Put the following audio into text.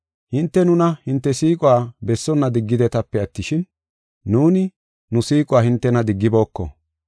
Hinte nuna hinte siiquwa bessonna diggidetape attishin, nuuni nu siiquwa hintena diggibooko.